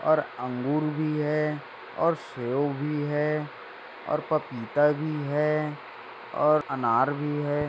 और अंगूर भी है और शेव भी है और पपीता भी है और अनार भी है।